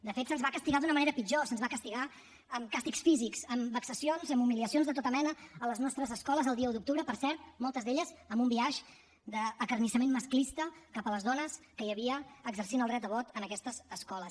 de fet se’ns va castigar d’una manera pitjor se’ns va castigar amb càstigs físics amb vexacions amb humiliacions de tota mena a les nostres escoles el dia un d’octubre per cert moltes d’elles amb un biaix d’acarnissament masclista cap a les dones que hi havia exercint el dret a vot en aquestes escoles